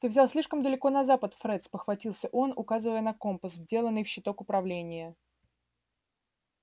ты взял слишком далеко на запад фред спохватился он указывая на компас вделанный в щиток управления